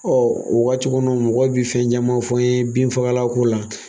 o wagati kɔnɔ mɔgɔ bi fɛn ɲama fɔ n ye bin fagala ko la.